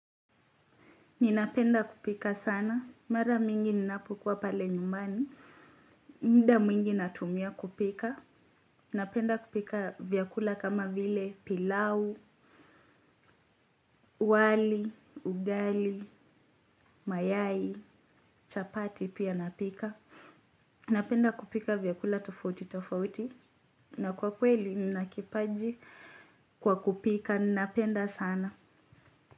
Ninapenda kupika sana. Mara mingi ninapokua pale nyumbani. Muda mwingi natumia kupika. Ninapenda kupika vyakula kama vile pilau, wali, ugali, mayai, chapati pia napika. Napenda kupika vyakula tofauti tofauti. Na kwa kweli nina kipaji kwa kupika. Ninapenda sana.